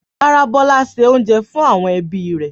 Rárá, Bọ́lá se oúnjẹ fún àwọn ẹbí rẹ̀.